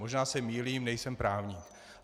Možná se mýlím, nejsem právník.